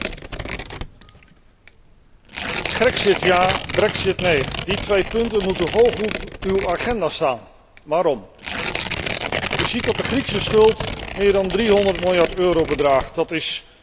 Grexit ja, brexit nee die twee punten moeten hoog op uw agenda staan. Waarom? U ziet dat de Griekse schuld meer dan 300 miljard euro bedraagt, dat is bijna twee keer het bruto nationaal product.